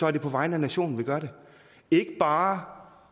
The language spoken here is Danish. er det på vegne af nationen man gør det ikke bare